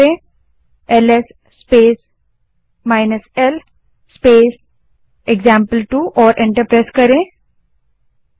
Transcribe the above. अब LS space l space example two command type करें और एंटर दबायें